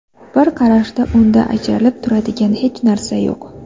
Bir qarashda unda ajralib turadigan hech narsa yo‘q.